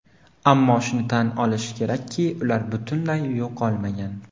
Ammo shuni tan olish kerakki, ular butunlay yo‘qolmagan.